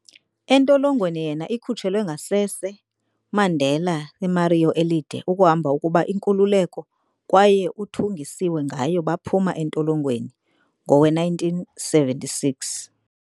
entolongweni yena ikhutshlwe ngasese Mandela ke memoir "Elide Ukuhamba ukuba Inkululeko" kwaye uthungisiwe ngayo baphuma entolongweni ngowe-1976.